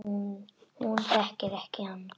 Hún þekkir hann ekki.